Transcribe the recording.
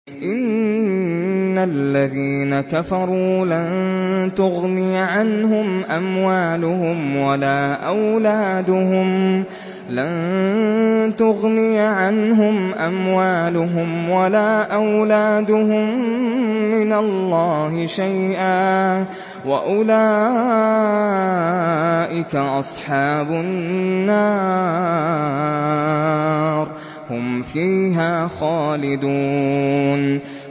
إِنَّ الَّذِينَ كَفَرُوا لَن تُغْنِيَ عَنْهُمْ أَمْوَالُهُمْ وَلَا أَوْلَادُهُم مِّنَ اللَّهِ شَيْئًا ۖ وَأُولَٰئِكَ أَصْحَابُ النَّارِ ۚ هُمْ فِيهَا خَالِدُونَ